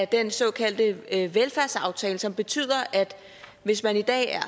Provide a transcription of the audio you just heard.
den såkaldte velfærdsaftale som betyder at hvis man i dag er